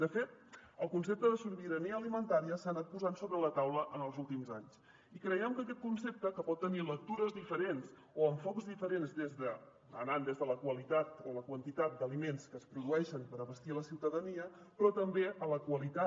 de fet el concepte de sobirania alimentària s’ha anat posant sobre la taula en els últims anys i creiem que aquest concepte que pot tenir lectures diferents o enfocs diferents anant des de la qualitat o la quantitat d’aliments que es produeixen per abastir la ciutadania però també a la qualitat